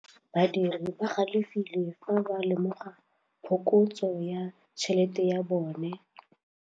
Badiri ba galefile fa ba lemoga phokotsô ya tšhelête ya bone.